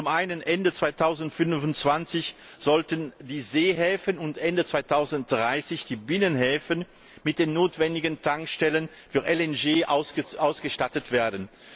Zum einen sollten Ende 2025 die Seehäfen und Ende 2030 die Binnenhäfen mit den notwendigen Tankstellen für LNG ausgestattet werden.